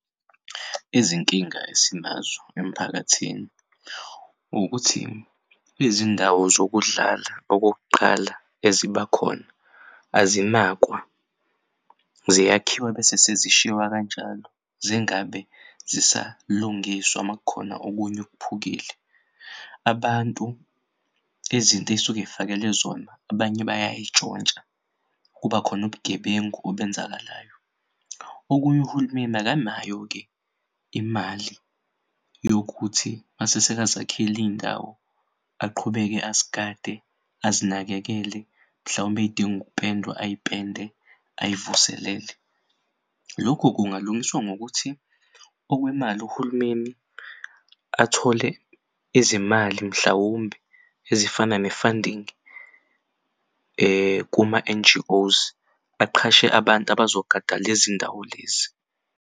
Izinkinga esinazo emphakathini ukuthi izindawo zokudlala okokuqala ezibakhona azinakwa ziyakhiwa bese sezishiwa kanjalo zingabe zisalungiswa makukhona okunye okuphukile. abantu izinto ey'suke ezifakele zona, abanye bayayitshontsha kubakhon'ubugebengu obenzakalayo. Okunye uhulumeni akanayo-ke imali yokuthi masesekazakhil'iy'ndawo aqhubeke azigade azinakekele mhlawumbe ey'dinga, ukupendwe ayipende ayivuselele. Lokhu kungalungiswa ngokuthi okwemali uhulumeni athole izimali mhlawumbe ezifana ne-funding kuma-N_G_Os aqhashe abantu abazogada lezindawo lezi.